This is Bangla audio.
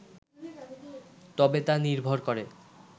তবে তা নির্ভর করে